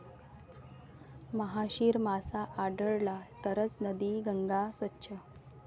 महाशीर मासा आढळला तरचं नदी गंगा स्वच्छ!